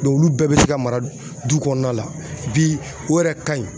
olu bɛɛ bɛ se ka mara du kɔnɔna la bi o yɛrɛ ka ɲi